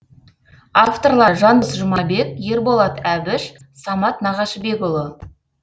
авторлары жандос жұмабек ерболат әбіш самат нағашыбекұлы